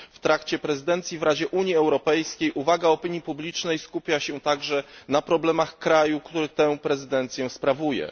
W trakcie prezydencji w Radzie Unii Europejskiej uwaga opinii publicznej skupia się także na problemach kraju, który tę prezydencję sprawuje.